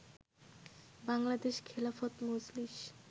Bangladesh Khelafat Majlis